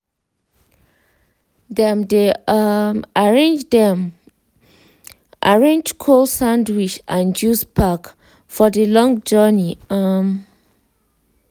dem they um arrange dem arrange cold sandwich and juice pack for the long journey. um